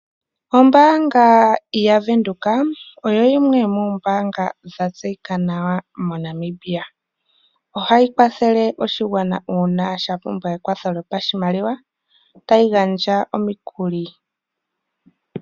Ombaanga yaVenduka oyo yimwe yomoombaanga dha tseyika nawa moNamibia. Ohayi kwathele oshigwana uuna sha pumbwa ekwatho lyopashimaliwa, tayi gandja omikuli.